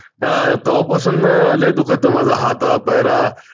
आह तेव्हापासून लय दुखत आहे माझा हात, पाय.